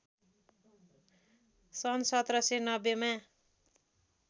सन् १७९० मा